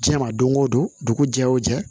Diɲɛ ma don o don dugu jɛ o jɛ